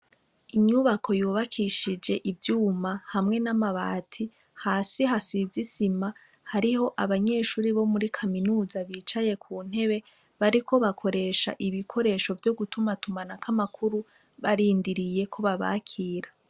Inyubako yubakishije ivyuma hamwe n'amabati, hasi hasize isima, hariho n'abanyeshure bo muri Kaminuza bicaye ku ntebe, bariko bakoresha ibikoresho vyo gutumatumanako amakuru, Barindiriye ko babakira.